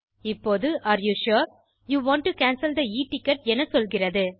இப்போது are you sure you want to cancel the e ticket என சொல்கிறது